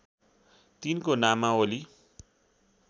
तिनको नामावली